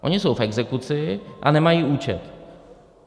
Oni jsou v exekuci a nemají účet.